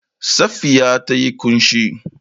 Safiya ta yi ƙunshi.